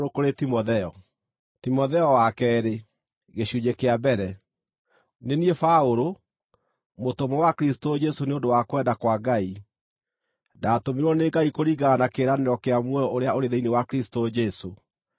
Nĩ niĩ Paũlũ, mũtũmwo wa Kristũ Jesũ nĩ ũndũ wa kwenda kwa Ngai. Ndatũmirwo nĩ Ngai kũringana na kĩĩranĩro kĩa muoyo ũrĩa ũrĩ thĩinĩ wa Kristũ Jesũ,